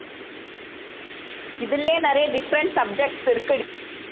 இதுலையே நிறைய different subjects இருக்கு